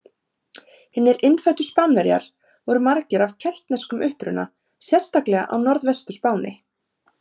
Hinir innfæddu Spánverjar voru margir af keltneskum uppruna sérstaklega á Norðvestur-Spáni.